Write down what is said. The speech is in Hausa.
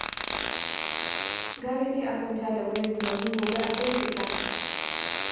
Gara dai a kwanta da wurin, domin gobe akwai fita.